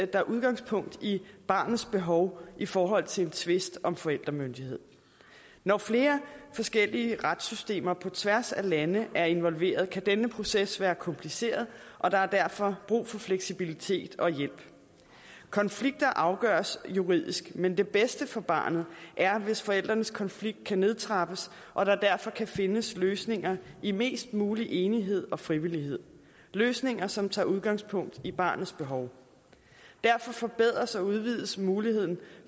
der udgangspunkt i barnets behov i forhold til en tvist om forældremyndighed når flere forskellige retssystemer på tværs af lande er involveret kan denne proces være kompliceret og der er derfor brug for fleksibilitet og hjælp konflikter afgøres juridisk men det bedste for barnet er hvis forældrenes konflikt kan nedtrappes og der derfor kan findes løsninger i mest mulig enighed og frivillighed løsninger som tager udgangspunkt i barnets behov derfor forbedres og udvides muligheden